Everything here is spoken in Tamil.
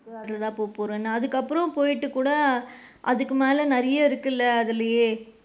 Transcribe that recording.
அதுல தான் போகபோறேன்னு அதுக்கு அப்பறம், போயிட்டு கூட அதுக்கு மேல நிறைய இருக்குல அதுலயே,